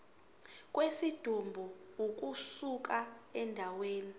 kwesidumbu ukusuka endaweni